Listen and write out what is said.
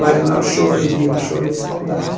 Mas não é um choro de... é um choro de saudade.